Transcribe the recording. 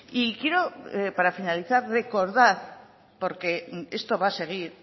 y quiero para finalizar recordar porque esto va a seguir